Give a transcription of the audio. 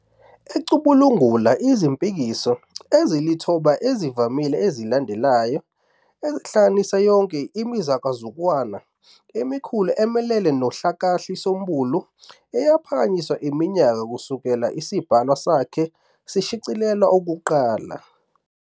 ecubungula izimpikiso ezilithoba ezivamile ezilandelayo, ezihlanganisa yonke imizakuzakwana emikhulu emelene nohlakahlisombulu eyaphakanyiswa iminyaka kusukela isibhalwa sakhe sishicilelwa okokuqala.